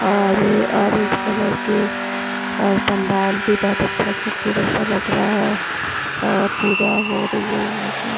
और orange colour के और पंडाल भी बहुत अच्छा खूबसूरत सा लग रहा है अ पूजा हो रही है यहां पे--